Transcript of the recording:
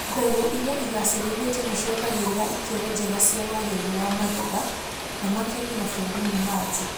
Mbegũ irĩa igacirithĩtio nĩciongagĩrĩra ikĩro njega cia wagĩrĩru wa magetha na makendio mabũrũri-inĩ ma na nja